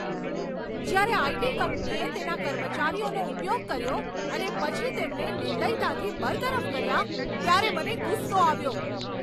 જ્યારે આઇ.ટી. કંપનીએ તેના કર્મચારીઓનો ઉપયોગ કર્યો અને પછી તેમને નિર્દયતાથી બરતરફ કર્યા, ત્યારે મને ગુસ્સો આવ્યો.